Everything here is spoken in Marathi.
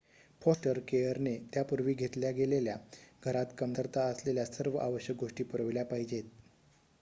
फॉस्टर केयरने त्या पूर्वी घेतल्या गेलेल्या घरात कमतरता असलेल्या सर्व आवश्यक गोष्टी पुरवल्या पाहिजेत